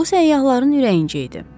Bu səyyahların ürəyincə idi.